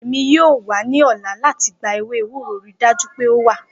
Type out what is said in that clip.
Emi yoo wa ni ọla lati gba ewe ewuro, rii daju pe o wa!